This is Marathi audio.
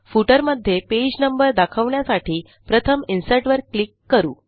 फुटर मध्ये पेज नंबर दाखवण्यासाठी प्रथम इन्सर्ट वर क्लिक करू